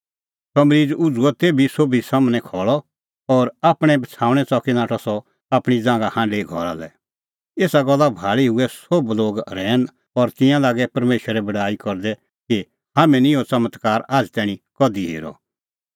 सह मरीज़ उझ़ुअ तेभी सोभी सम्हनै खल़अ और आपणैं बछ़ाऊणैं च़की नाठअ सह आपणीं ज़ांघा हांढी घरा लै एसा गल्ला भाल़ी हुऐ सोभ लोग रहैन और तिंयां लागै परमेशरे बड़ाई करदै कि हाम्हैं निं इहअ च़मत्कार आझ़ तैणीं कधि हेरअ